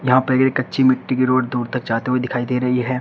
यहां पे ये कच्ची मिट्टी की रोड दूर तक जाती हुई दिखाई दे रही है।